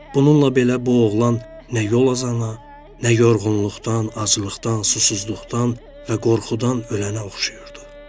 Bununla belə, bu oğlan nə yol azana, nə yorğunluqdan, aclıqdan, susuzluqdan və qorxudan ölənə oxşayırdı.